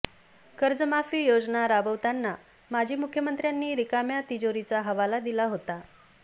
कर्जमाफी योजना राबवताना माजी मुख्यमंत्र्यांनी रिकाम्या तिजोरीचा हवाला दिला होता